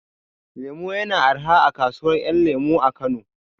Lemu ya na arha a kasuwar ƴan lemu a Kano